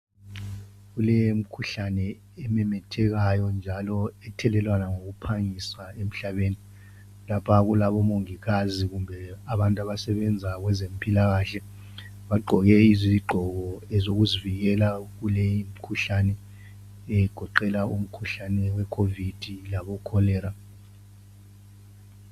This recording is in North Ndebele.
Kulemikhuhlane ememethekayo njalo ethelelwana ngokuphangisa emhlabeni lapha kulabo mongikazi kumbe abantu abasebenza kwezempilakahle bagqoke izigqoko ezokuzivikela kuleyi mikhuhlane egoqela umkhuhlane we Covid labo cholera.